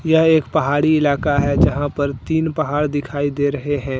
यह एक पहाड़ी इलाका है जहां पर तीन पहाड़ दिखाई दे रहे हैं।